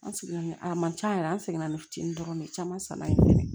An seginna a man can yɛrɛ an seginna ni fitinin dɔrɔn de caman sanna ye fɛnɛ